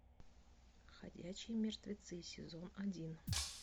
ходячие мертвецы сезон один